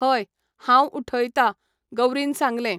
हय, हांव उठयता, गौरीन सांगलें.